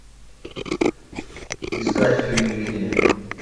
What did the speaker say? искать фильм линия